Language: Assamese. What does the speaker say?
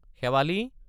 শেৱালি?